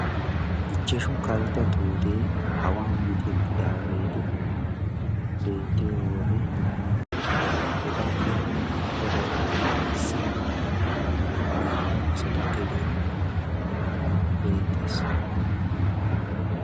Ichchashshu kaltta tuute awan micceettidage beettiyowode etappe sintta baggaara qassi naa'u asatu gedee beettees.